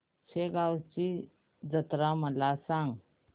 शेगांवची जत्रा मला सांग